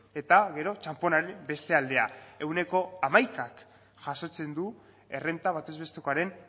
eta gero txanponaren beste aldea ehuneko hamaikak jasotzen du errenta batez bestekoaren